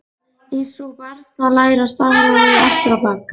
Einsog barn sem er að læra stafrófið aftur á bak.